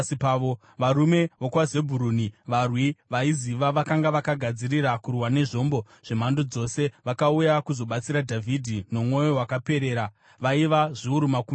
varume vokwaZebhuruni, varwi vaiziva, vakanga vakagadzirira kurwa nezvombo zvemhando dzose, vakauya kuzobatsira Dhavhidhi nomwoyo wakaperera, vaiva zviuru makumi mashanu;